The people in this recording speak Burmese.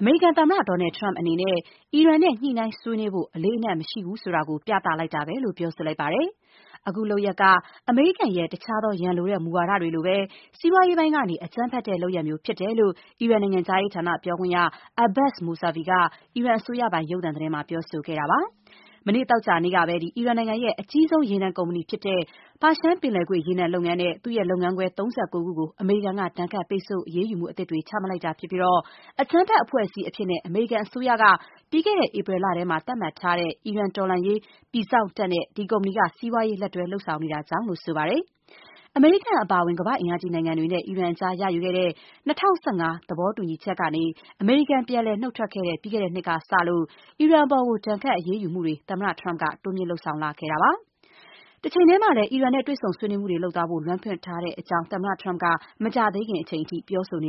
အမေရိကန်သမ္မတ Donald Trump အနေနဲ့ အီရန်နဲ့ ညှိနှိုင်းဆွေးနွေးဖို့ အလေးအနက် မထားဘူးဆိုတာကို ပြလိုက်တာပဲလို့ ပြောဆိုလိုက်ပါတယ်။ အခုလုပ်ရပ်က အမေရိကန်ရဲ့ တခြားသော ရန်လိုက်တဲ့ မူဝါဒတွေလိုပဲ စီးပွားရေးပိုင်းကနေ အကြမ်းဖက်တဲ့ လုပ်ရပ်မျိုး ဖြစ်တယ်လို့ အီရန် နိုင်ငံခြားရေးဌာနပြောခွင့်ရ Abbas Mousavi က အီရန်အစိုးရပိုင် ရုပ်သံသတင်းမှာ ပြောဆိုခဲ့ပါတယ်။ မနေ့ သောကြာနေ့ကပဲ အီရန်နိုင်ငံရဲ့ အကြီးဆုံး ရေနံကုမ္ပဏီဖြစ်တဲ့ ပါရှန်ပင်လယ်ကွေ့ ရေနံလုပ်ငန်းနဲ့ သူ့ရဲ့လုပ်ငန်းခွဲ ၃၉ ခုကို အမေရိကန်က ဒဏ်ခတ်ပိတ်ဆို့ အရေးယူမှုသစ် ချမှတ်လိုက်တာဖြစ်ပြီး အကြမ်းဖက်အဖွဲ့အစည်းအဖြစ် အမေရိကန်အစိုးရက ပြီးခဲ့တဲ့ဧပြီလထဲမှာပဲ သတ်မှတ်ထားတဲ့ အီရန်တော်လှန်ရေး ပြည်စောင့်တပ်နဲ့ ဒီကုမ္ပဏီက စီးပွားရေး လက်တွဲ လုပ်ဆောင်နေတာကြေင့်လို့ ဆိုပါတယ်။ အမေရိကန်အပါအဝင် ကမ္ဘာ့အင်အားကြီးနိုင်ငံတွေနဲ့ အီရန်အကြား ရယူခဲ့တဲ့ ၂၀၁၅ သဘောတူညီချက်ကနေ အမေရိကန်ပြန်လည် နုတ်ထွက်ခဲ့တဲ့ ပြီးခဲ့တဲ့နှစ်ကစလို့ အီရန်အပေါ် ဒဏ်ခတ်အရေးယူမှုတွေကို သမ္မတ Trump က တိုးမြင့်လုပ်ဆောင်လာခဲ့တာပါ။ တချိန်တည်းမှာလည်း အီရန်နဲ့ တွေ့ဆုံ ဆွေးနွေးမှုတွေလုပ်သွားနိုင်ဖို့ လမ်းဖွင့်ထားကြောင်းကိုလည်း သမ္မတ Trump က မကြာသေးခင်အချိန်အထိ ပြောဆိုန